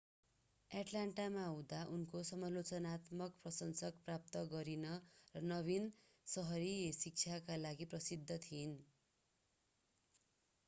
एटलान्टामा हुँदा उनले समालोचनात्मक प्रशंसा प्राप्त गरिन र नवीन सहरी शिक्षाका लागि प्रसिद्ध थिइन्